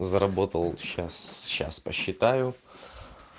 заработал сейчас сейчас посчитаю